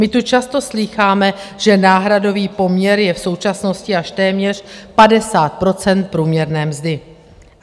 My tu často slýcháme, že náhradový poměr je v současnosti až téměř 50 % průměrné mzdy.